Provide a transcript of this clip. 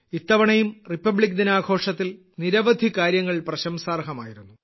ഇത്തവണയും റിപ്പബ്ലിക് ദിനാഘോഷത്തിൽ നിരവധി കാര്യങ്ങൾ പ്രശംസാർഹമായിരുന്നു